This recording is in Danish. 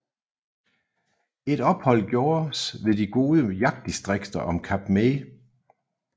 Et ophold gjordes ved de gode jagtdistrikter om Kap May